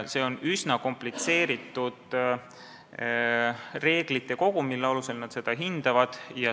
See on üsna komplitseeritud reeglite kogum, mille alusel nad seda hindavad.